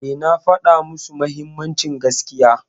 Eh, na faɗa musu mahimmancin gaskiya.